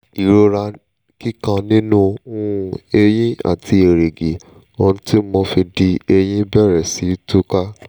ìrora kíkan nínú um eyín àti èrìgì ohun tí mo fi dí eyín bẹ̀rẹ̀ sí túká